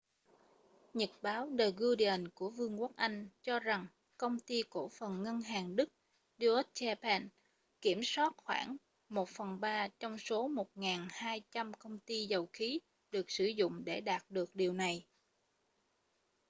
nhật báo the guardian của vương quốc anh cho rằng công ty cổ phần ngân hàng đức deutsche bank kiểm soát khoảng một phần ba trong số 1200 công ty dầu khí được sử dụng để đạt được điều này